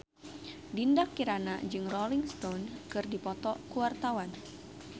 Dinda Kirana jeung Rolling Stone keur dipoto ku wartawan